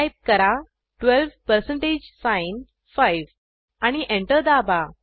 type करा 12 percentage sign 5 आणि enter दाबा